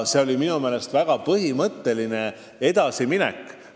See on minu meelest väga põhimõtteline edasiminek.